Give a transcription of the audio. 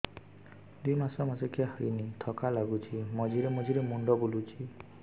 ଦୁଇ ମାସ ମାସିକିଆ ହେଇନି ଥକା ଲାଗୁଚି ମଝିରେ ମଝିରେ ମୁଣ୍ଡ ବୁଲୁଛି